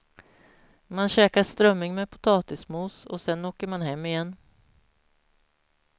Man käkar strömming med potatismos och sen åker man hem igen.